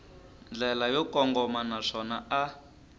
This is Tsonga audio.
ndlela yo kongoma naswona a